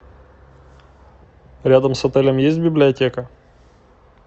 рядом с отелем есть библиотека